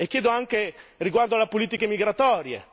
E chiedo anche riguardo alle politiche migratorie.